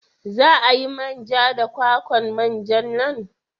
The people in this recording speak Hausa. Za a yi man ja da kwakwan manja nan?